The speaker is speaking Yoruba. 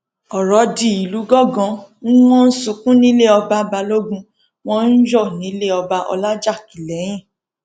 ọrọ di ìlú gángan n wọn ń sunkún nílé ọba balógun wọn ń yọ nílẹ ọba ọlajákilẹhìn